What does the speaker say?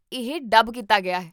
ਇਹ ਡੱਬ ਕੀਤਾ ਗਿਆ ਹੈ